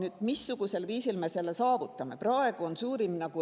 Aga missugusel viisil me selle saavutame?